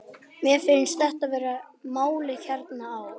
Mér finnst þetta vera málið hérna á